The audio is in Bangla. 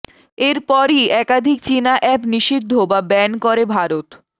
এর পরই একাধিক চিনা অ্যাপ নিষিদ্ধ বা ব্যান করে ভারত